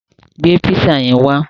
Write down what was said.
Gbé písà yẹn wá!